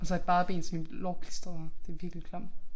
Og så i bare ben så mine lår klistrede det virkelig klamt